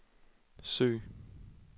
søg